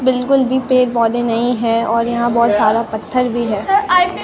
बिल्कुल भी पेड़ पौधे नहीं है और यहां बहोत सारा पत्थर भी है।